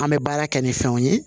An bɛ baara kɛ ni fɛnw ye